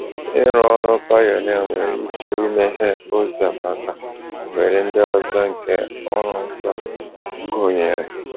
Ịrụ ọrụ pionia nwere ike imeghe ụzọ maka ohere ndị ọzọ nke ọrụ nsọ, gụnyere: